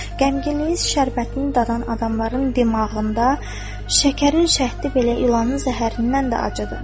Qəmginliyin şərbətini dadan adamların damağında şəkərin şəhti belə ilanın zəhərindən də acıdır.